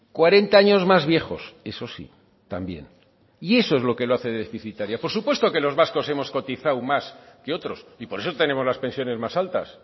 cuarenta años más viejos eso sí también y eso es lo que lo hace deficitaria por supuesto que los vascos hemos cotizado más que otros y por eso tenemos las pensiones más altas